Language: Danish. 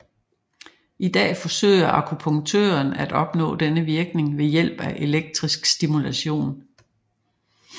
I dag forsøger akupunktøren at opnå denne virkning ved hjælp af elektrisk stimulation